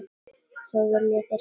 Svo þér viljið semja?